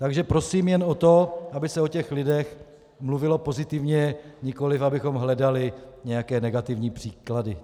Takže prosím jen o to, aby se o těch lidech mluvilo pozitivně, nikoliv abychom hledali nějaké negativní příklady.